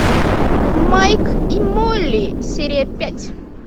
майк и молли серия пять